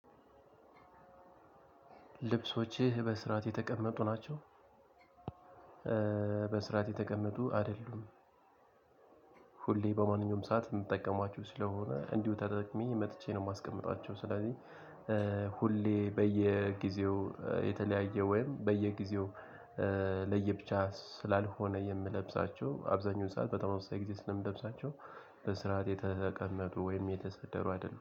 ልብሶችህ በስርዓት የተቀመጡ ናቸው? በስርዓት የተቀመጡ አደሉም። ሁሌ በማንኛውም ሰዓት የምጠቀማቸው ስለሆነ እንዲሁ ተጠቅሜ መጥቼ ነው። የማስቀምጣቸው ስለዚህ ሁሌ በየጊዜው የተለያየ ወይም በየጊዜው ለየብቻ ስላልሆነ የምለብሳቸው አብዛኛውን ሰዓት በጣም ወሳኝ ጊዜ ስለምለብሳቸው በስርዓት የተቀመጡ ወይም የተሰደሩ አይደሉም።